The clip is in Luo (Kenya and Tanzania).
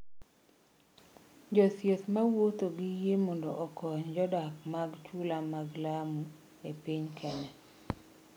Jothieth ma wuotho gi yie mondo gikony jodak mag chula mag Lamu e piny Kenya